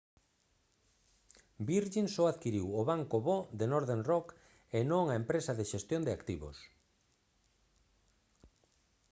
virgin só adquiriu o «banco bo» de northern rock e non a empresa de xestión de activos